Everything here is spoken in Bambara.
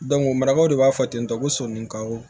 marabaw de b'a fɔ ten tɔ ko sonikaw